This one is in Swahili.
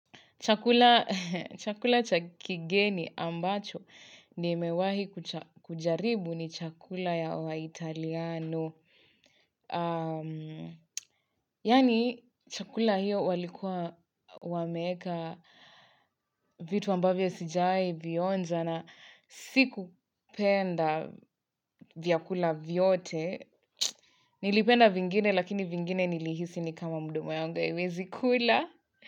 Chakula chakigeni ambacho ni mewahi kujaribu ni chakula ya wa italiano. Yani chakula hiyo walikuwa wameeka vitu ambavyo sijawahi vionja na siku penda vyakula vyote. Nilipenda vingine lakini vingine nilihisi ni kama mdomo yangu haiewezi kula.